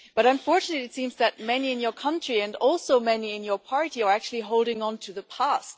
But, unfortunately, it seems that many in your country and also many in your party are actually holding on to the past.